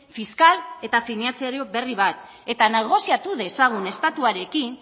fiskal eta finantzario berri bat eta negoziatu dezagun estatuarekin